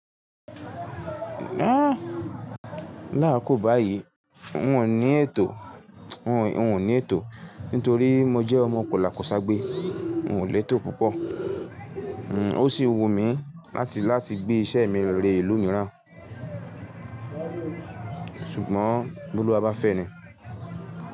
Lákokò báyìí wò n ní ètò, won won n ò ní ètò nítorí mo jẹ́ ọmọ kòlàkò ságbe. Kò lé tò púpọ̀. O sì wù mí láti, láti gbé iṣẹ́ mi re ìlú mìíràn. Ṣùgbọ́n, bólú wa bá fẹ́ ni.